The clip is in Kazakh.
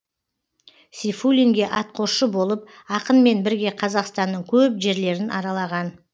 сейфуллинге атқосшы болып ақынмен бірге қазақстанның көп жерлерін аралаған